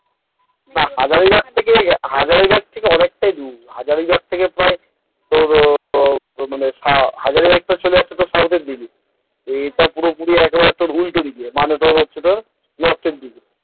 না হাজারীবাগ থেকে হাজারীবাগ থেকে অনেকটাই দূর হাজারীবাগ থেকে প্রায় তোর ওই তোর হাজারীবাগ টা চলে যাচ্ছে ওই south তোর পুরোপুরি উল্টোদিকে, মানে হচ্ছে তোর ওই north,